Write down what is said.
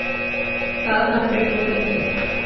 Það hafi hún nú fengið.